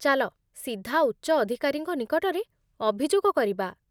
ଚାଲ ସିଧା ଉଚ୍ଚ ଅଧିକାରୀଙ୍କ ନିକଟରେ ଅଭିଯୋଗ କରିବା।